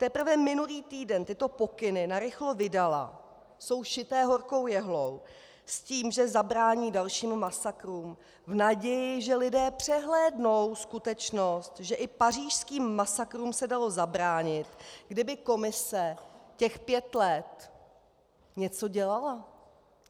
Teprve minulý týden tyto pokyny narychlo vydala, jsou šité horkou jehlou, s tím, že zabrání dalším masakrům v naději, že lidé přehlédnou skutečnost, že i pařížským masakrům se dalo zabránit, kdyby Komise těch pět let něco dělala.